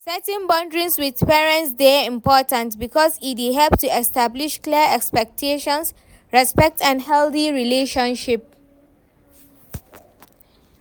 setting boudaries with parents dey important because e dey help to establish clear expectations, respect and healthy relationship.